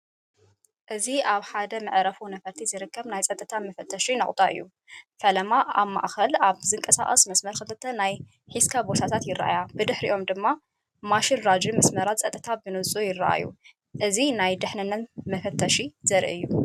እዚ ኣብ ሓደ መዓርፎ ነፈርቲ ዝርከብ ናይ ጸጥታ መፈተሺ ነቑጣ እዩ። ፈለማ፡ ኣብ ማእከል ኣብ ዝንቀሳቐስ መስመር ክልተ ናይ ሒዝካ ቦርሳታት ይረኣያ። ብድሕሪኦም ድማ ማሽን ራጂን መስመራት ጸጥታን ብንጹር ይረኣዩ። እዚ ናይ ድሕንነት ፈተሻ ዘርኢ እዩ።